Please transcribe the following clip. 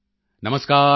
ਨਮਸਕਾਰ ਡਾ